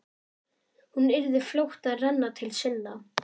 Hún yrði fljót að renna til sinna.